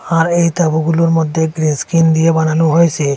আর এই তাঁবুগুলোর মধ্যে গ্রেস্কিন দিয়ে বানানো হয়েসে।